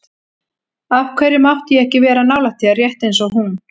Af hverju mátti ég ekki vera nálægt þér, rétt eins og hún?